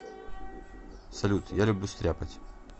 салют я люблю стряпать